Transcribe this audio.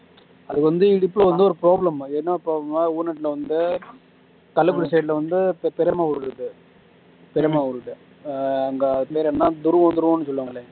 அது வந்து இடுப்புல வந்து ஒரு problem அது என்ன problem னா வந்து கள்ளக்குறிச்சி side ல வந்து பெரியம்மா ஊரு இருக்கு பெரியம்மா ஊரு இருக்கு அங்க அது பேரு என்ன சொல்லுவாங்கலே